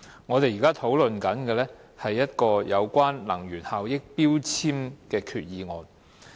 我們現在討論的是，一項有關能源標籤的決議案。